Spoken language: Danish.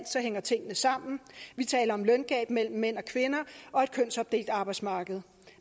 hænger tingene sammen vi taler om løngab mellem mænd og kvinder og et kønsopdelt arbejdsmarked